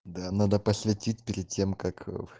да надо посветить перед тем как